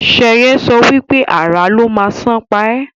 Sheye sọ wípé "Àrà ló má sàn pa e"